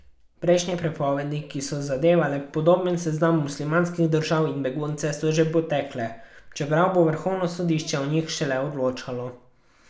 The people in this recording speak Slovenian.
Prejšnje prepovedi, ki so zadevale podoben seznam muslimanskih držav in begunce, so že potekle, čeprav bo vrhovno sodišče o njih šele odločalo.